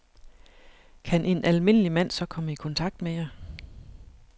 Kan en almindelig mand så komme i kontakt med jer?